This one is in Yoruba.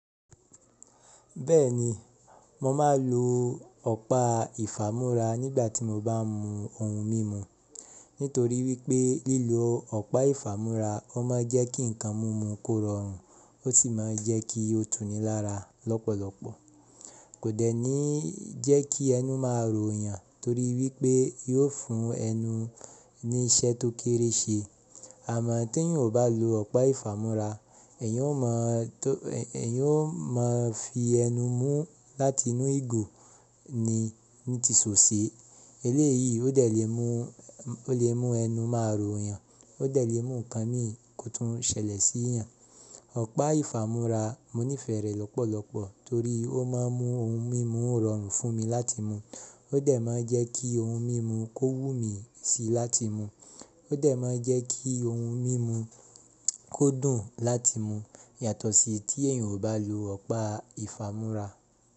Bẹ́ẹ̀ni, mo máa ń lo ọ̀pá ìfámú́ra nígbà tí mo bá ń mu ohun mímu. Nítorí wípé lílo ọ̀pá ìfámú́ra ó máa ń jẹ́ kí ǹkan mímu kó rọrùn ó sì má ń jẹ́ kí ó túnì lára lọ́pọ̀lọpọ̀. Kò dẹ̀ ní jẹ́ kí ẹnu máa rò yàn torí wípé yóò fún ẹnu ní iṣẹ́ tó kéré ṣe. Àmọ́ tí èèyàn ò bá lo ọ̀pá ìfámú́ra, ẹ̀yàn ó máa fi ẹnu mú láti inú ìgò ni ní ti so se. Eléyìí ó lè mú ẹnu máa rò yàn, ó lè mú ǹkan mì kò tún ṣẹlẹ̀ sí ìyàn. Ọ̀pá ìfámú́ra mo nífẹ̀ẹ́ rẹ̀ lọ́pọ̀lọpọ̀ torí ó máa ń mú ohun mímu rọrùn fún mi láti mú, ó dẹ̀ má ń jẹ́ kí ohun mímu kó wú mi sí láti mú, ó dẹ̀ má ń jẹ́ kí ohun mímu kó dùn láti mú yàtọ̀ sí tí èèyàn ò bá lo ọ̀pá ìfámú́ra.